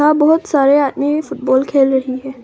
यहाँ बहुत सारे आदमी फुटबॉल खेल रही हैं।